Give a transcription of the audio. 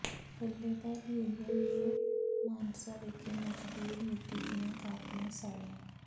ਪੱਲੇਦਾਰ union ਨੇ ਮਾਨਸਾ ਵਿਖੇ ਮਜ਼ਦੂਰ ਨੀਤੀ ਦੀਆਂ ਕਾਪੀਆਂ ਸਾੜੀਆਂ